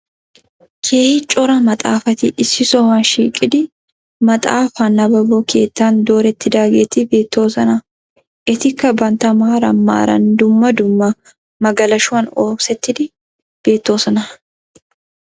Kehi cora maaxafati issi sohuwa shiiqidi maaxafaa naababbo keettaan doretidaageeti beettoosonna etikkaa banta maaran maaran dummaa dummaa magalashuwan oosettidi beettoosonna